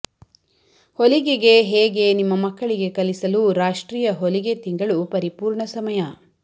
ಹೊಲಿಗೆಗೆ ಹೇಗೆ ನಿಮ್ಮ ಮಕ್ಕಳಿಗೆ ಕಲಿಸಲು ರಾಷ್ಟ್ರೀಯ ಹೊಲಿಗೆ ತಿಂಗಳು ಪರಿಪೂರ್ಣ ಸಮಯ